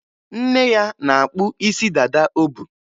Nne ya na-akpụ isi dada o bu.